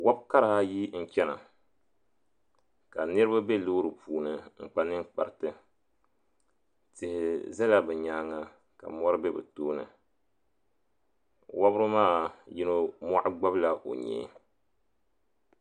Wɔbkara ayi n chɛna ka niriba be loori puuni n kpa ninkpariti tihi zala bɛ nyaanga k. mɔri be bɛ tooni wɔbri maa yino mɔɣu gbabla o nyee.